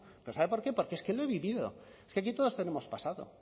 pero sabe por qué porque es que lo he vivido es que aquí todos tenemos pasado